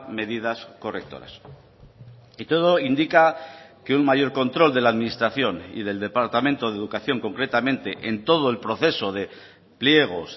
medidas correctoras y todo indica que un mayor control de la administración y del departamento de educación concretamente en todo el proceso de pliegos